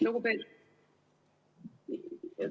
Lugupeetud ...